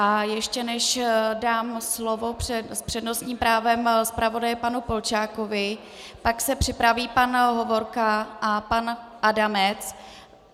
A ještě než dám slovo s přednostním právem zpravodaji panu Polčákovi, tak se připraví pan Hovorka a pan Adamec.